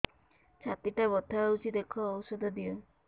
ଛାତି ଟା ବଥା ହଉଚି ଦେଖ ଔଷଧ ଦିଅ